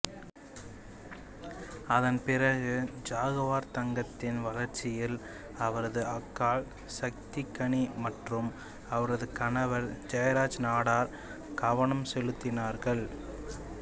அதன்பிறகு ஜாகுவார் தங்கத்தின் வளர்ச்சியில் அவரது அக்காள் சக்திக் கனி மற்றும் அவரது கணவர் ஜெயராஜ் நாடார் கவனம் செலுத்தினார்கள்